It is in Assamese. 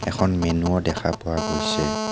এখন মেনো ও দেখা পোৱা গৈছে.